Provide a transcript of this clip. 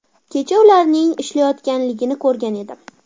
Kecha ularning ishlayotganligini ko‘rgan edim.